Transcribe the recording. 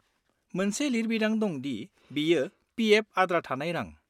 -मोनसे लिरबिदां दं दि बेयो पि. एफ.आद्रा थानाय रां।